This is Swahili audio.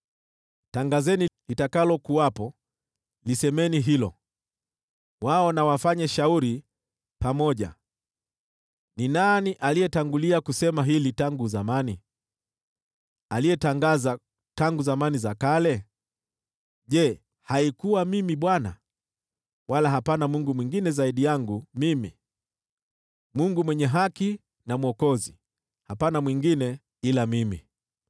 Tangazeni litakalokuwepo, lisemeni hilo, wao na wafanye shauri pamoja. Ni nani aliyetangulia kusema hili tangu zamani, aliyetangaza tangu zamani za kale? Je, haikuwa Mimi, Bwana ? Wala hapana Mungu mwingine zaidi yangu mimi, Mungu mwenye haki na Mwokozi; hapana mwingine ila mimi.